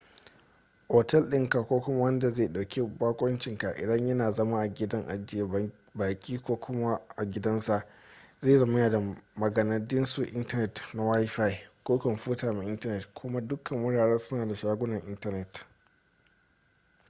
otel dinka ko kuma wanda zai dauki bakoncinka idan yana zama a gidan ajiye baki ko kuma a gidansa zai zama yana da maganadisun intanet na wifi ko kwamfuta mai intanet kuma dukkan wuraren suna da shagunan intanet